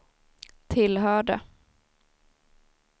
tillhörde